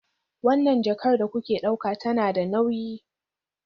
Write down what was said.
Wannan jakar da kuke ɗauka tana da nauyi